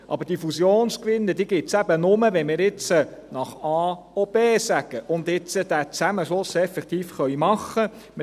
Aber diese Fusionsgewinne gibt es eben nur, wenn wir jetzt nach A auch B sagen und diesen Zusammenschluss jetzt auch effektiv machen können.